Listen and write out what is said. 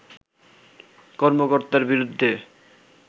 কর্মকর্তার বিরুদ্ধে